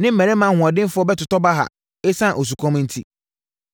ne mmarimaa ahoɔdenfoɔ bɛtotɔ baha ɛsiane osukɔm enti.